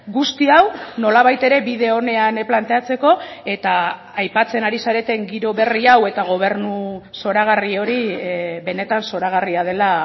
guzti hau nolabait ere bide onean planteatzeko eta aipatzen ari zareten giro berri hau eta gobernu zoragarri hori benetan zoragarria dela